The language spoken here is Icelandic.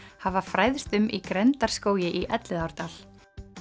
hafa fræðst um í í Elliðaárdal